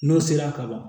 N'o sera ka ban